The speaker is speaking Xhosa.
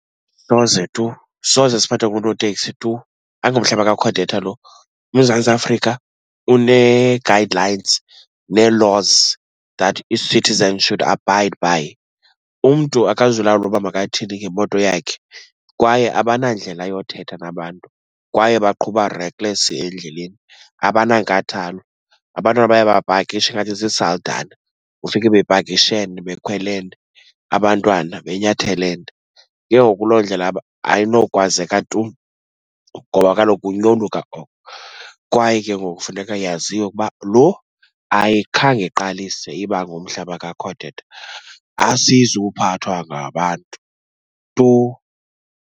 Soze tu, soze siphathwe ngoonoteksi tu. Ayingomhlaba kaCodeta lo. UMzantsi Afrika unee-guide lines nee-laws that its citizens should abide by. Umntu akazulawulwa uba makathini ngemoto yakhe, kwaye abanandlela yothetha nabantu kwaye baqhuba recklessly endleleni, abanankathalo. Abantu aba bayabapakisha ngathi ziisaldana, ufike bepakishene bekhwelene, abantwana benyathelene. Yhoo kuloo ndlela ayinokwazeka tu ngoba kaloku kukunyoluka oko kwaye ke ngoku kufuneka yaziwe uba lo ayikhange iqalise iba ngumhlaba kaCodeta. Asizuphathwa ngabantu tu.